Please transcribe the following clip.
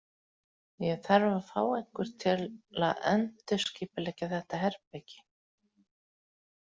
Ég þarf að fá einhvern til að endurskipuleggja þetta herbergi.